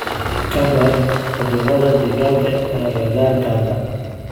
Ka baadh cudurada digaaga ee agagaarkaaga.